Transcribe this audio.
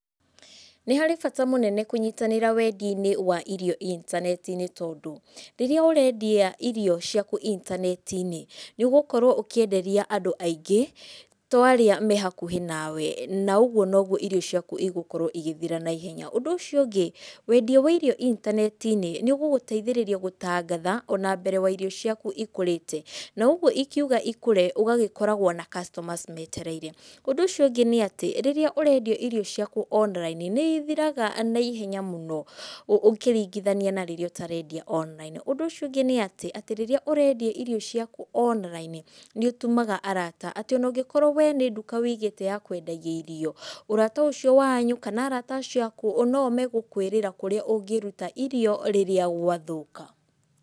Nĩharĩ bata mũnene kũnyitanĩra wendia-inĩ wa irio intaneti-inĩ tondũ, rĩrĩa ũrendia irio ciaku intaneti-inĩ nĩ ũgũkorwo ũkĩenderia andũ aingĩ, to arĩa me hakuhĩ nawe na ũgwo nogwo irio ciaku igũkorwo igĩthira naihenya. Ũndũ ũcio ũngĩ, wendia wa irio intaneti-inĩ niũgũgũteithĩrĩria gũtangatha ona mbere wa irio ciaku ikũrĩte, na ũgwo ikiuga ikũre ũgagĩkoragwo na customers metereire. Ũndũ ũcio ũngĩ nĩatĩ, rĩrĩa ũrendia irio ciaku online, nĩ ithiraga naihenya mũno ũ, ũkĩringithania na rĩrĩa ũtarendia online. Ũndũ ũcio ũngĩ nĩatĩ, atĩ rĩrĩa ũrendia irio ciaku online nĩ ũtumaga arata, atĩ ona ũngĩkorwo wee nĩ nduka wĩigĩte ya kwendagia irio, ũrata ũcio wanyu, kana arata acio aku oo noo megũkwirĩra kũrĩa ũngĩruta irio rĩrĩa gwathũka.